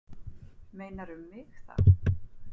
Meinarðu um mig þá?